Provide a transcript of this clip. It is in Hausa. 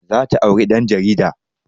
Za ta auri ɗan jarida